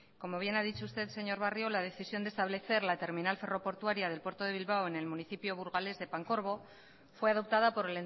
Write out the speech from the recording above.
como bien ha dicho usted señor barrio la decisión de establecer la terminal ferroportuaria del puerto de bilbao en el municipio burgalés de pancorbo fue adoptada por